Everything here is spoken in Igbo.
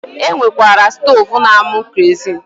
E nwekwara stoovu na-amụ kerozin